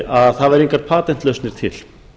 að það væru engar patentlausnir til